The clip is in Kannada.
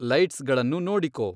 ಲೈಟ್ಸ್ ಗಳನ್ನು ನೋಡಿಕೊ